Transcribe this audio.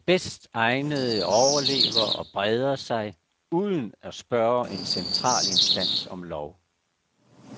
De bedst egnede overlever og breder sig, uden at spørge en central instans om lov.